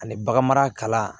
Ani bagan mara